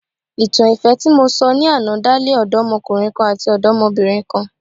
Ìtàn ìfẹ́ tí mo sọ ní àná dá lé odomọkùnrin kan àti odomobinrin kan.